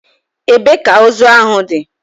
Ebee ka ozu ahụ dị?